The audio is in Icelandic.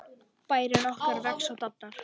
Bærinn okkar vex og dafnar.